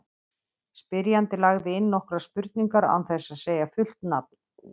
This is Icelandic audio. Spyrjandi lagði inn nokkrar spurningar án þess að segja fullt nafn.